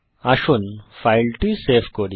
আসুন ফাইলটি সেভ করি